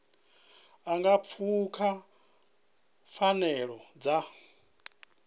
a nga pfuka pfanelo dza